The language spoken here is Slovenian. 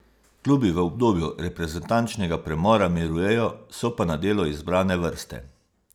Klubi v obdobju reprezentančnega premora mirujejo, so pa na delu izbrane vrste.